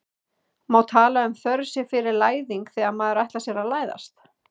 má tala um þörf sé fyrir læðing þegar maður ætlar sér að læðast